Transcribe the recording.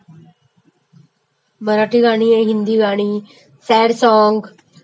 मराठी गाणी, हिंदी गाणी, sad song